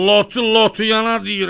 Lotu lotuyana deyirəm.